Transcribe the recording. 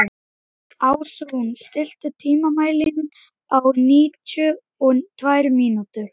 Ásrún, stilltu tímamælinn á níutíu og tvær mínútur.